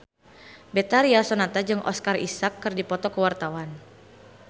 Betharia Sonata jeung Oscar Isaac keur dipoto ku wartawan